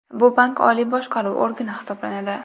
Bu bank oliy boshqaruv organi hisoblanadi.